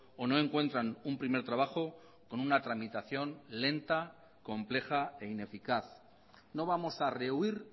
o no encuentran un primer trabajo con una tramitación lenta compleja e ineficaz no vamos a rehuir